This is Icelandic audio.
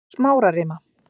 Smárarima